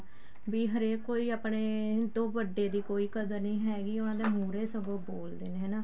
ਵੀ ਹਰੇਕ ਕੋਲ ਹੀ ਆਪਣੇ ਤੋਂ ਵੱਡੇ ਦੀ ਕੋਈ ਕਦਰ ਨੀ ਹੈਗੀ ਉਹਨਾ ਦੇ ਮੁਹਰੇ ਸਗੋਂ ਬੋਲਦੇ ਨੇ ਹਨਾ